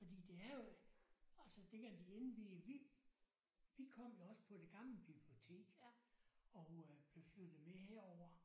Fordi det er jo altså det at vi indviede vi vi kom jo også på det gamle biblioteket og øh blev flyttet med herover